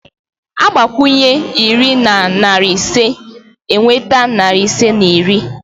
A gbakwụnye iri na narị ise, e nweta narị ise na iri